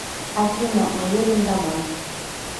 афина мы едем домой